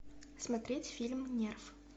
смотреть фильм нерв